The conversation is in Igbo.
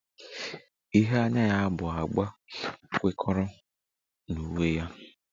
Ihe anya ya bụ agba kwekọrọ na uwe ya